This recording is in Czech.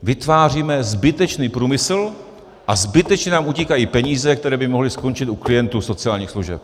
Vytváříme zbytečný průmysl a zbytečně nám utíkají peníze, které by mohly skončit u klientů sociálních služeb.